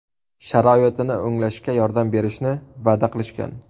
Sharoitini o‘nglashga yordam berishni va’da qilishgan.